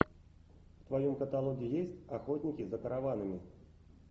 в твоем каталоге есть охотники за караванами